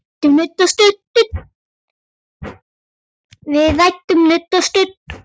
Við ræðum nudd um stund.